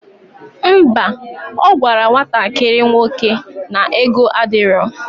Ḿbà, ogwara nwatakiri nwoke na ego adiro